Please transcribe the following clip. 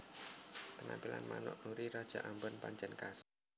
Penampilan manuk Nuri raja ambon pancèn khas